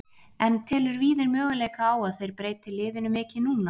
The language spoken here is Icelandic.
En telur Víðir möguleika á að þeir breyti liðinu mikið núna?